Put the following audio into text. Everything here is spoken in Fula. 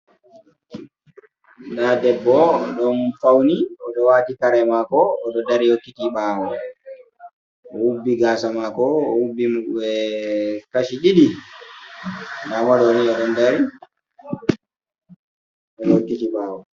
Nda debbo oɗo fawni, oɗo waati kare maako oɗo dari yokkiti ɓawo. o hubbi gaasa maako, ohubbi kashi ɗiɗi ndamo ɗoni o dari, ohokkiti ɓawo.